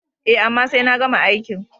E, amma sai na gama aikin.